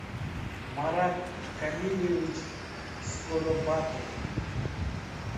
марат камильевич скоробатов